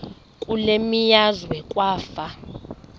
kule meazwe kwafa